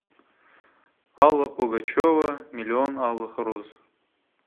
алла пугачева миллион алых роз